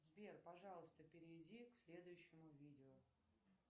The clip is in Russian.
сбер пожалуйста перейди к следующему видео